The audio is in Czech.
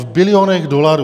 V bilionech dolarů.